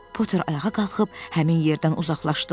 Potter ayağa qalxıb həmin yerdən uzaqlaşdı.